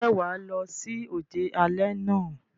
Ǹjẹ́ wà á lọ sí òde alẹ́ náà?